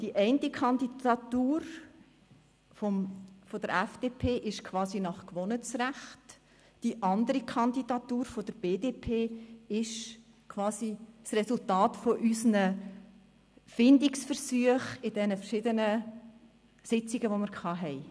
Die eine Kandidatur, jene der FDP, ist gleichsam nach Gewohnheitsrecht zustande gekommen, die Kandidatur der BDP ist quasi das Resultat unserer Findungsversuche in den verschiedenen Sitzungen, die wir hatten.